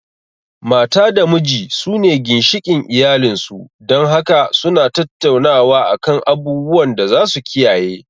Mata da miji su ne ginshikin iyalin su, dan haka su na tattaunawa a kan abubuwan da za su kiyaye